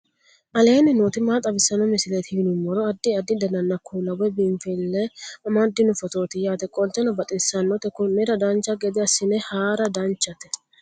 aleenni nooti maa xawisanno misileeti yinummoro addi addi dananna kuula woy biinsille amaddino footooti yaate qoltenno baxissannote konnira dancha gede assine haara danchate